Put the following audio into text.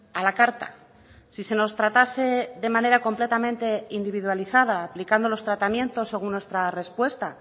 a la carta si se nos tratase de manera completamente individualizada aplicando los tratamientos según nuestra respuesta